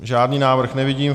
Žádný návrh nevidím.